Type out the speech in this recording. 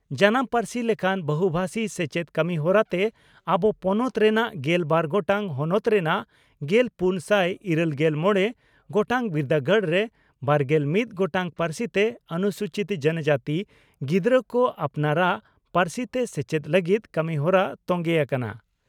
ᱡᱟᱱᱟᱢ ᱯᱟᱹᱨᱥᱤ ᱞᱮᱠᱟᱱ ᱵᱚᱦᱩᱵᱷᱟᱥᱤ ᱥᱮᱪᱮᱫ ᱠᱟᱹᱢᱤᱦᱚᱨᱟ ᱛᱮ ᱟᱵᱚ ᱯᱚᱱᱚᱛ ᱨᱮᱱᱟᱜ ᱜᱮᱞ ᱵᱟᱨ ᱜᱚᱴᱟᱝ ᱦᱚᱱᱚᱛ ᱨᱮᱱᱟᱜ ᱜᱮᱞᱯᱩᱱ ᱥᱟᱭ ᱤᱨᱟᱹᱞᱜᱮᱞ ᱢᱚᱲᱮ ᱜᱚᱴᱟᱝ ᱵᱤᱨᱫᱟᱹᱜᱟᱲ ᱨᱮ ᱵᱟᱨᱜᱮᱞ ᱢᱤᱛ ᱜᱚᱴᱟᱝ ᱯᱟᱹᱨᱥᱤ ᱛᱮ ᱚᱱᱩᱥᱩᱪᱤᱛ ᱡᱚᱱᱚᱡᱟᱹᱛᱤ ᱜᱤᱫᱽᱨᱟᱹ ᱠᱚ ᱟᱯᱱᱟᱨᱟᱜ ᱯᱟᱹᱨᱥᱤ ᱛᱮ ᱥᱮᱪᱮᱫ ᱞᱟᱹᱜᱤᱫ ᱠᱟᱹᱢᱤᱦᱚᱨᱟ ᱛᱚᱝᱜᱮ ᱟᱠᱟᱱᱟ ᱾